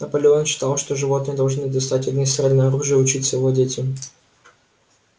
наполеон считал что животные должны достать огнестрельное оружие и учиться владеть им